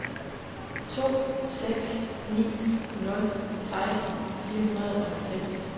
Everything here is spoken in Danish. to seks ni nul seksten fire hundrede og halvfems